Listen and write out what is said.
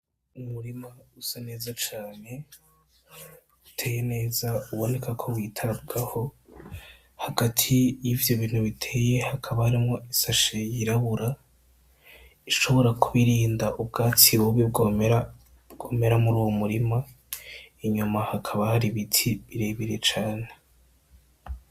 Umurima usa neza cane uteye neza cane uboneka ko witabwaho ,hagati yivyo bintu biteye hakaba harimwo isashe y'irabura, ishobora kuba irinda ubwatsi bubi bwomera muruwo murima, inyuma hakaba hari ibiti birebire cane.